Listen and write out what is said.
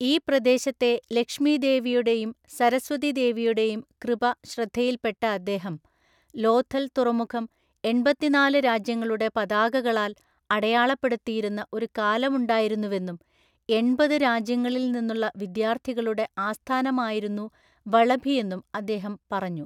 ഈ പ്രദേശത്തെ ലക്ഷ്മി ദേവിയുടെയും സരസ്വതി ദേവിയുടെയും കൃപ ശ്രദ്ധയിൽപ്പെട്ട അദ്ദേഹം, ലോഥൽ തുറമുഖം എണ്‍പത്തിനാല് രാജ്യങ്ങളുടെ പതാകകളാൽ അടയാളപ്പെടുത്തിയിരുന്ന ഒരു കാലമുണ്ടായിരുന്നുവെന്നും എണ്‍പത് രാജ്യങ്ങളിൽ നിന്നുള്ള വിദ്യാർത്ഥികളുടെ ആസ്ഥാനമായിരുന്നു വളഭിയെന്നും അദ്ദേഹം പറഞ്ഞു.